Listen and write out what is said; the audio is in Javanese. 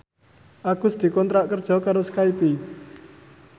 Agus dikontrak kerja karo Skype